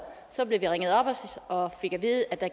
så blev vi ringet op og fik at vide at der